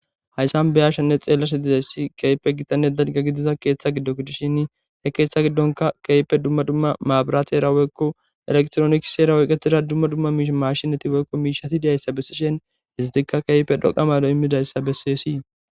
Haysan be'ashenne xelashe dizaysi issi kehipe gitane dalga gidiza ketha gido gidishin he ketha gidonka kehipe duma duma mabraterea woyko elektironiksera oyketira duma duma matshineti woyko mishati diyaysa besishen istika kehipe dhoqa mado imidayssa beses.